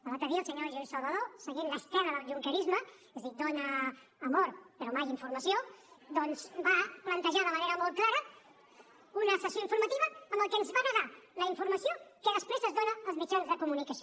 l’altre dia el senyor lluís salvadó seguint l’estela del junquerisme és a dir dona amor però mai informació doncs va plantejar de manera molt clara una sessió informativa en la que ens va negar la informació que després es dona als mitjans de comunicació